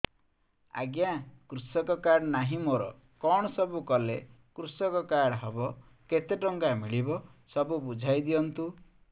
ଆଜ୍ଞା କୃଷକ କାର୍ଡ ନାହିଁ ମୋର କଣ ସବୁ କଲେ କୃଷକ କାର୍ଡ ହବ କେତେ ଟଙ୍କା ମିଳିବ ସବୁ ବୁଝାଇଦିଅନ୍ତୁ